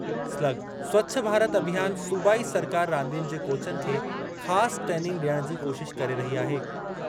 Slug– Swachh Bharat Abhiyan सूबाई सरकार रांदियुनि जे कोचनि खे ख़ासि ट्रेनिंग डि॒यणु जी कोशिश करे रही आहे।